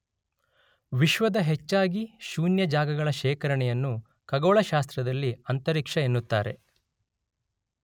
ವಿಶ್ವದ ಹೆಚ್ಚಾಗಿ ಶೂನ್ಯ ಜಾಗಗಳ ಶೇಖರಣೆಯನ್ನು ಖಗೋಳಶಾಸ್ತ್ರದಲ್ಲಿ ಅಂತರಿಕ್ಷ ಎನ್ನುತ್ತಾರೆ.